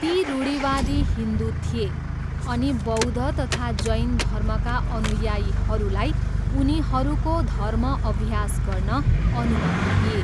ती रूढिवादी हिन्दु थिए अनि बौद्ध तथा जैन धर्मका अनुयायीहरूलाई उनीहरूको धर्म अभ्यास गर्न अनुमति दिए।